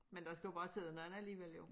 Men der skal jo bare sidde nogen andre alligevel jo